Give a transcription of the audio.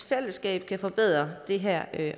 fællesskab kan forbedre det her